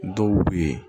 Dɔw b'u ye